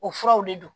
O furaw de don